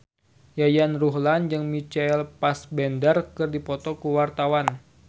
Yayan Ruhlan jeung Michael Fassbender keur dipoto ku wartawan